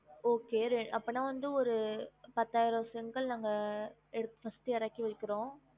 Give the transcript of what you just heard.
Okay அப்பனா வந்து ஒரு பத்தாயிரம் செங்கல் நாங்க எடுத்து first எறக்கி வைக்கிறோம்